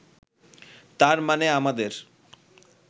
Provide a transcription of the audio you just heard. তার মানে আমাদের